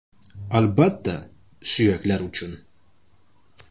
– Albatta, suyaklar uchun.